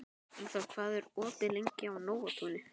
Ingiþór, hvað er opið lengi í Nóatúni?